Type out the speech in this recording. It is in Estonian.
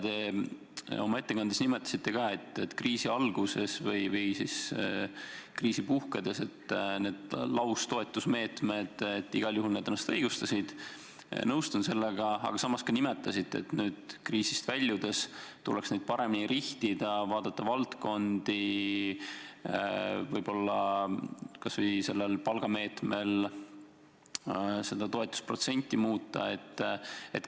Te oma ettekandes mainisite, et kriisi algul või kriisi puhkedes need laustoetusmeetmed igal juhul õigustasid ennast – nõustun sellega –, aga samas ütlesite, et nüüd kriisist väljudes tuleks neid paremini rihtida, vaadata valdkondi, võib-olla sellel palgameetmel toetusprotsenti muuta.